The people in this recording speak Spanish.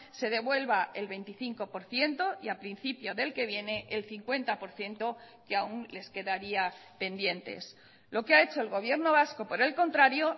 se devuelva el veinticinco por ciento y a principio del que viene el cincuenta por ciento que aún les quedaría pendientes lo que ha hecho el gobierno vasco por el contrario